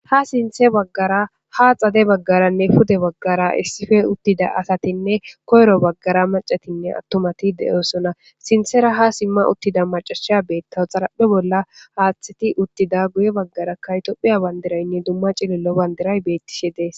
ha sinthe baggara ha xade baggaranne pude bagara issife uttida asatinne koyro baggara macatinne attomati de'osonna sinthera ha simma uttida macasha beettaw xaraphe bolla haaththati uttida guye baggaraka tophiya bandiraynne dumma cilillo bandiray beettishe dees